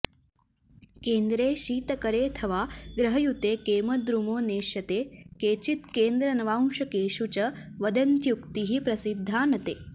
केन्द्रे शीतकरेऽथ वा ग्रहयुते केमद्रुमो नेष्यते केचित् केन्द्र नवांशकेषु च वदन्त्युक्तिः प्रसिद्धा न ते